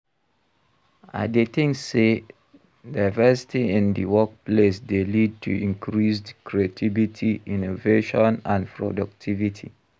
I dey think say diversity in di workplace dey lead to increased creativity, innovation and productivity.